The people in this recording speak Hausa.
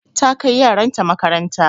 Ta kai yaran ta makaranta.